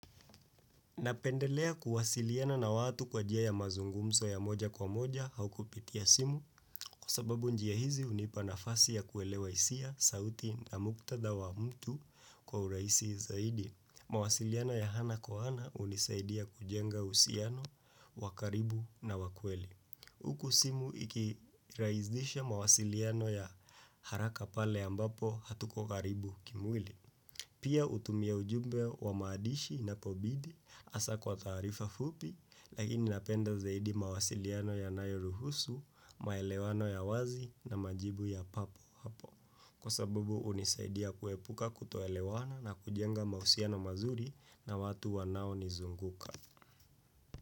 Napendelea kuwasiliana na watu kwa njia ya mazungumzo ya moja kwa moja au kupitia simu kwa sababu njia hizi hunipa nafasi ya kuelewa hisia, sauti na muktadha wa mtu kwa urahisi zaidi. Mawasiliano ya ana kwa ana hunisaidia kujenga uhusiano, wa karibu na wakweli. Huku simu ikirahisisha mawasiliano ya haraka pale ambapo hatuko karibu kimwili. Pia hutumia ujumbe wa maandishi inapobidi hasa kwa taarifa fupi lakini napenda zaidi mawasiliano yanayo ruhusu, maelewano ya wazi na majibu ya papo hapo. Kwa sabubu hunisaidia kuepuka kutoelewana na kujenga mahusiano mazuri na watu wanao nizunguka.